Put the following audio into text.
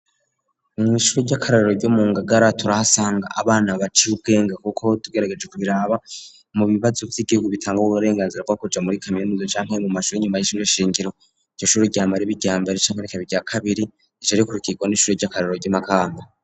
Mw'ishuri ry'akarorero ryo mu Ngagara turahasanga abana baciye ubwenge kuko tugerageje kubiraba, mu bibazo vy'igihugu bitanga uburenganzira bwo kuja muri kamiimiza canke mu mashuri y'inyuma y'ishuri shingiro, iryo shuri ryama riba iryambere canke irya kabiri rigaca rikurikirwa n'ishuri ry'akarorero rya Makamba.